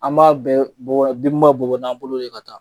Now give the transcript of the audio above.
An b'a bɛɛ bɔra bin bɛ bɔ n'an bolo ye ka taa.